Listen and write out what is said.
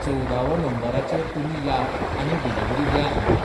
चोवदावो नंबराचेर तुमी या आनी डिलिवरी द्या आमकां.